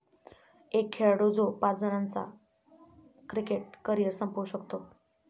एक खेळाडू जो पाच जणांचं क्रिकेट करिअर संपवू शकतो!